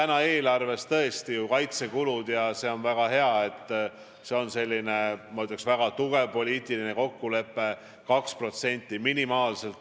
Meil on eelarves tõesti ju kaitsekulutustega nii tehtud ja see on väga hea, see on selline, ma ütleks, väga tugev poliitiline kokkulepe, 2% minimaalselt.